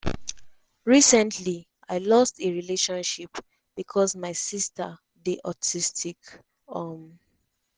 "recently i lost a relationship becos my sister dey autistic. um